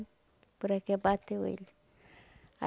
Poraquê bateu ele.